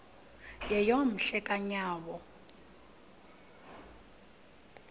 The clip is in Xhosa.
yeyom hle kanyawo